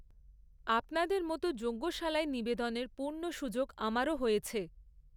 আপনাদের মতো যজ্ঞশালায় নিবেদনের পূর্ণ সুযোগ আমারও হয়েছে।